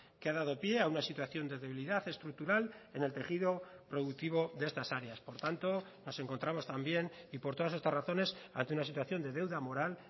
que ha dado pie a una situación de debilidad estructural en el tejido productivo de estas áreas por tanto nos encontramos también y por todas estas razones ante una situación de deuda moral